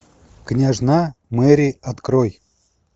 княжна мери открой